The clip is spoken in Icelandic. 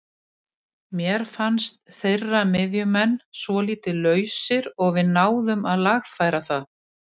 Mér fannst þeirra miðjumenn svolítið lausir og við náðum að lagfæra það.